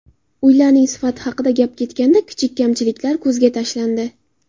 Uylarning sifati haqida gap ketganda kichik kamchiliklar ko‘zga tashlandi.